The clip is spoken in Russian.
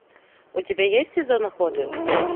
у тебя есть сезон охоты